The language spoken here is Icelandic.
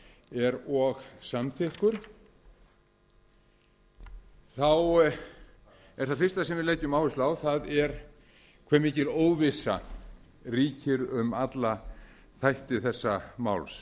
er og samþykkur þá er það fyrsta sem við leggjum áherslu á hve mikil óvissa ríkir um alla þætti þessa máls